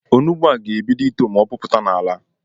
Onugbu a ga-ebido ito ma o pụpụta n’ala